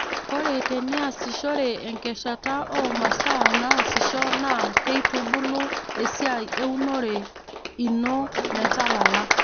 ore teniasishore enkeshata o masaa naasisho naa keitubulu esiai eunore ino metalala